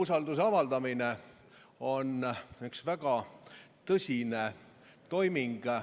Umbusalduse avaldamine on üks väga tõsine toiming.